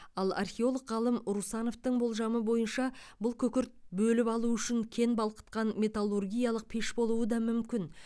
ал археолог ғалым русановтың болжамы бойынша бұл күкірт бөліп алу үшін кен балқытқан металлургиялық пеш болуы да мүмкін